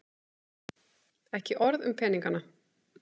Ekki orð um peningana.